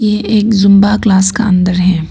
ये एक Zumba class का अंदर है।